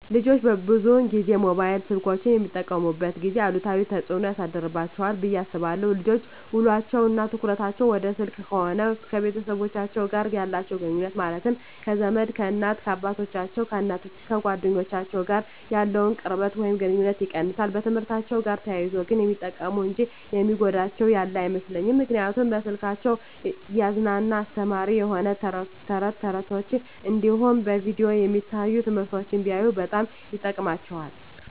ልጆች ብዙን ጊዜ ሞባይል ስልኮችን በሚጠቀሙበት ጊዜ አሉታዊ ተፅዕኖ ያሳድርባቸዋል ብየ አስባለው ልጆች ውሎቸው እና ትኩረታቸውን ወደ ስልክ ከሆነ ከቤተሰቦቻቸው ጋር ያላቸውን ግኑኙነት ማለትም ከዘመድ፣ ከእናት አባቶቻቸው፣ ከጓደኞቻቸው ጋር ያለውን ቅርበት ወይም ግኑኝነት ይቀንሳል። በትምህርትአቸው ጋር ተያይዞ ግን ሚጠቀሙ እንጂ የሚጎዳቸው ያለ አይመስለኝም ምክንያቱም በስልኮቻቸው እያዝናና አስተማሪ የሆኑ ተረት ተረቶች እንዲሁም በቪዲዮ የሚታዩ ትምህርቶችን ቢያዩ በጣም ይጠቅማቸዋል።